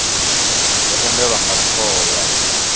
dzo tendelwa nga thoho ya